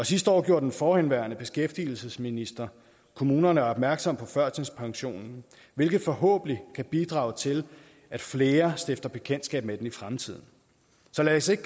sidste år gjorde den forhenværende beskæftigelsesminister kommunerne opmærksom på førtidspensionen hvilket forhåbentlig kan bidrage til at flere stifter bekendtskab med den i fremtiden så lad os ikke